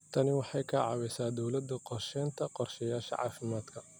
Tani waxay ka caawisaa dawlada qorshaynta qorshayaasha caafimaadka.